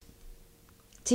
TV 2